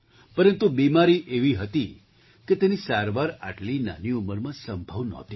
પરંતુ બીમારી એવી હતી કે તેની સારવાર આટલી નાની ઉંમરમાં સંભવ નહોતી